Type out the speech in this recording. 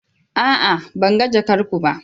A'a! Ban ga jakar ku ba.